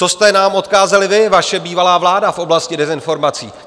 Co jste nám odkázali vy, vaše bývalá vláda, v oblasti dezinformací?